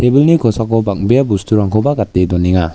kosako bang·bea bosturangkoba gate donenga.